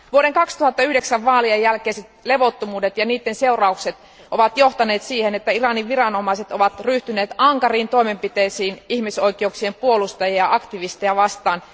Vuoden 2009 vaalien jälkeiset levottomuudet ja niiden seuraukset ovat johtaneet siihen, että Iranin viranomaiset ovat ryhtyneet ankariin toimenpiteisiin ihmisoikeuksien puolustajia ja aktivisteja vastaan.